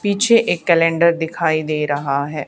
पीछे एक कैलेंडर दिखाई दे रहा है।